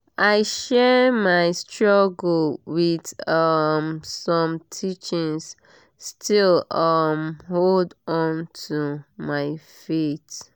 i share my struggle with um some teachings still um hold on to my faith